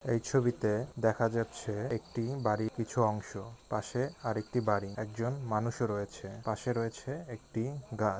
এই ছবিতে দেখা যাচ্ছে একটি বাড়ির কিছু অংশ পাশে আরেকটি বাড়ি একজন মানুষও রয়েছে পাশে রয়েছে একটি গাছ ।